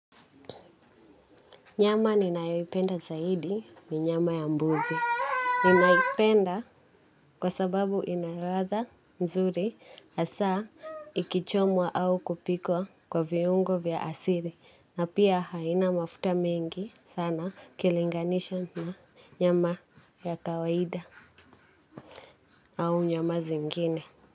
Nyama ninayoipenda zaidi ni nyama ya mbuzi. Ninaipenda kwa sababu inaladha nzuri hasaa ikichomwa au kupikwa kwa viungo vya asili. Na pia haina mafuta mengi sana ukilinganisha na nyama ya kawaida au nyama zingine.